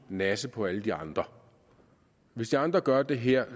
nasse på alle de andre hvis de andre gør det her